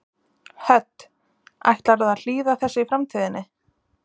Hödd: Ætlarðu að hlýða þessu í framtíðinni?